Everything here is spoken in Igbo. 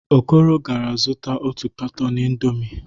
Okoro gara zụta otu katọn indọmii.